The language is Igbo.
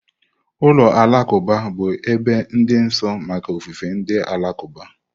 Ụlọ alakụba bụ ebe dị nsọ maka ofufe ndị Alakụba.